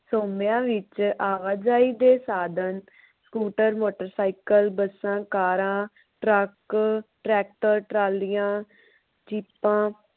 ਸੋਮਿਆਂ ਵਿਚ ਆਵਾਜਾਈ ਦੇ ਸਾਧਨ ਸਕੂਟਰ, ਮੋਟਰ ਸਾਈਕਲ, ਬੱਸਾਂ, ਕਾਰਾਂ, ਟਰੱਕ, ਟਰੈਕਟਰ, ਟਰਾਲੀਆ, ਜੀਪਾਂ